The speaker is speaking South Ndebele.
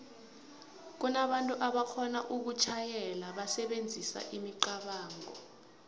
kunabantu aboxhona ukutjhayela basebenzisa imicabango